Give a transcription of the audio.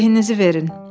Behinizi verin.